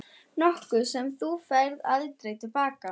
Nokkuð sem þú færð aldrei til baka.